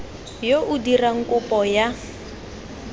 yo o dirang kopo ya